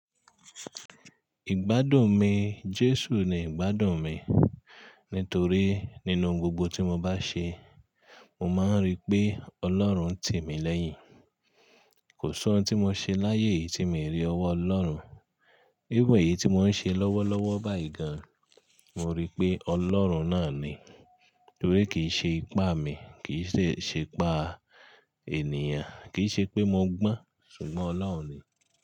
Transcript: Ìgbádùn mi, Jésù ni ìgbádùn mi. Nítorí nínú gbogbo tí mo bá ṣe, mo máa ń rí pé Ọlọ́run ń tì mí lẹ́yìn. Kò sí ohun tí mo ṣe láyé yìí tí mi rí ọwọ́ Ọlọ́run. Éven i yìí tí mò ń ṣe lọ́wọ́lọ́wọ́ báyìí gan, mo rí pé Ọlọ́run náà ni. Torí kì í ṣe ipá mi, kì í se, ṣe ipá ènìyàn, kì í ṣe pé mo gbọ́n, ṣùgbọ́n Ọlọ́run ni.